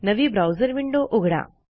नवी browser window उघडा